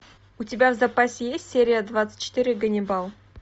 у тебя в запасе есть серия двадцать четыре ганнибал